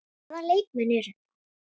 Hvaða leikmenn eru þetta?